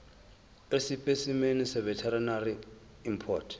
esipesimeni seveterinary import